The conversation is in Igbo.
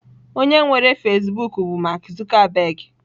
Onye nwere Fasịbụk bụ Mark Zuckerberg.